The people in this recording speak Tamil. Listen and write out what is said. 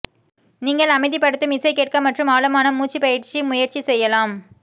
நீங்கள் அமைதிப்படுத்தும் இசை கேட்க மற்றும் ஆழமான மூச்சு பயிற்சி முயற்சி செய்யலாம்